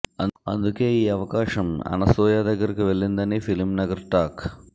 అందుకే ఈ అవకాశం అనసూయ దగ్గరకు వెళ్లిందని ఫిల్మ్ నగర్ టాక్